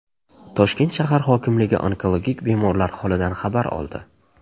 Toshkent shahar hokimligi onkologik bemorlar holidan xabar oldi.